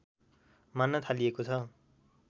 मान्न थालिएको छ